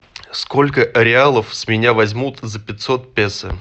сколько реалов с меня возьмут за пятьсот песо